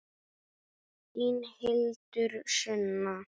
Þín Hildur Sunna.